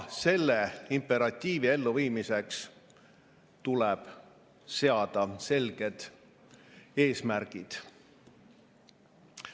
Selle imperatiivi elluviimiseks tuleb seada selged eesmärgid.